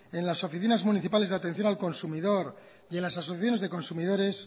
en las oficinas municipales de atención al consumidor y en las asociaciones de consumidores